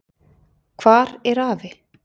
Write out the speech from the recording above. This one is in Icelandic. Hvar er afi?